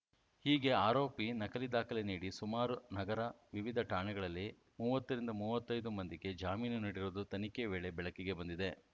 ಹೀಗೆ ಆರೋಪಿ ನಕಲಿ ದಾಖಲೆ ನೀಡಿ ಸುಮಾರು ನಗರ ವಿವಿಧ ಠಾಣೆಗಳಲ್ಲಿ ಮೂವತ್ತರಿಂದ ಮೂವತ್ತೈದು ಮಂದಿಗೆ ಜಾಮೀನು ನೀಡಿರುವುದು ತನಿಖೆ ವೇಳೆ ಬೆಳಕಿಗೆ ಬಂದಿದೆ